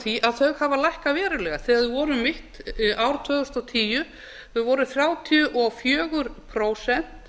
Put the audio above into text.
þau hafa lækkað verulega þegar þau voru um mitt ár tvö þúsund og tíu þau voru þrjátíu og fjögur prósent